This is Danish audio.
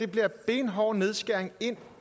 bliver benhård nedskæring ind